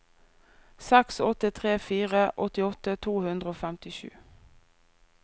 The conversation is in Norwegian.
seks åtte tre fire åttiåtte to hundre og femtisju